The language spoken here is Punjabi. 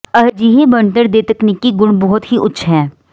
ਅਜਿਹੇ ਬਣਤਰ ਦੇ ਤਕਨੀਕੀ ਗੁਣ ਬਹੁਤ ਹੀ ਉੱਚ ਹੈ